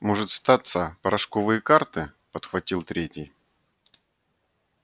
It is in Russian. может статься порошковые карты подхватил третий